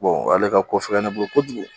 ale ka ko fɛ ne bolo kojugu